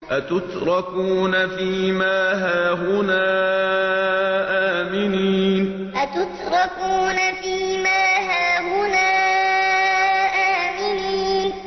أَتُتْرَكُونَ فِي مَا هَاهُنَا آمِنِينَ أَتُتْرَكُونَ فِي مَا هَاهُنَا آمِنِينَ